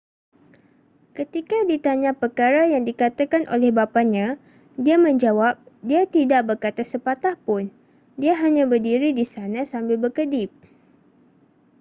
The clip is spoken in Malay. ketika ditanya perkara yang dikatakan oleh bapanya dia menjawab dia tidak berkata sepatah pun dia hanya berdiri di sana sambil berkedip